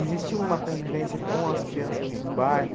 Existia uma convivência com as crianças do bairro?